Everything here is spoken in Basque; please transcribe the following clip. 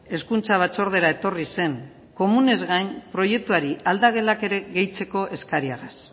hezkuntza batzordera etorri zen komunez gain proiektuari aldagelak ere gehitzeko eskariagaz